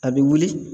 A bɛ wuli